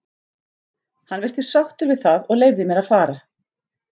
Hann virtist sáttur við það og leyfði mér að fara.